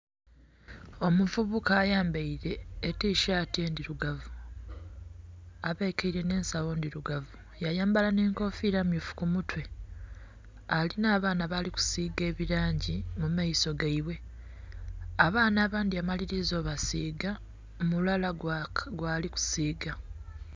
Omuvubuka ayambaire etisaati endhirugavu abekeire nhe ensagho ndhirugavu ya yambala nhe nkofira ndhirugavu ku mutwe alinha abaana bali kusiba ebilangi mu maiso gaibwe. Abaana abandhi amaliliza okubasiga mulala gwali kusiiga